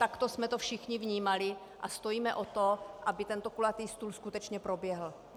Takto jsme to všichni vnímali a stojíme o to, aby tento kulatý stůl skutečně proběhl.